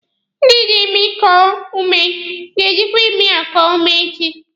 Ndị jị imi koo ume ga-ejikwa imi eko ume echi.